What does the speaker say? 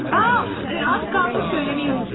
A, az qaldı deməyi unudacaqdım.